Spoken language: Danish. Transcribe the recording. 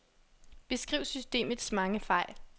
Beskriv systemets mange fejl.